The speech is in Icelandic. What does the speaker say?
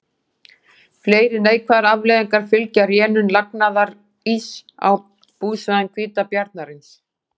Fleiri neikvæðar afleiðingar fylgja rénun lagnaðaríss á búsvæðum hvítabjarnarins.